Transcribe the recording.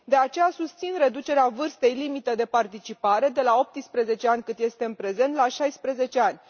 De aceea, susțin reducerea vârstei limită de participare de la 18 ani, cât este în prezent, la 16 ani.